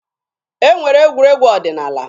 E nwere egwuregwu ọdịnaala.